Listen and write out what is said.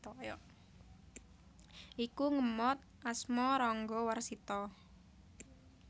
Iku ngemot asma Ranggawarsita